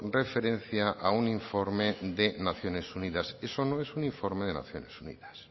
referencia a un informe de naciones unidas eso no es un informe de naciones unidas